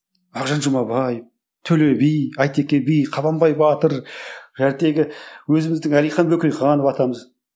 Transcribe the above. мағжан жұмабаев төле би айтеке би қабанбай батыр өзіміздің әлихан бөкейханов атамыз